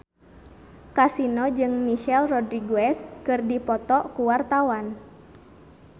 Kasino jeung Michelle Rodriguez keur dipoto ku wartawan